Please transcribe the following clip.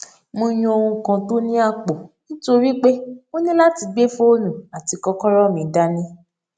mo yan ohun kan tó ní àpò nítorí pé mo ní láti gbé fóònù àti kókóró mi dání